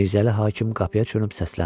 Mirzəli hakim qapıya dönüb səsləndi.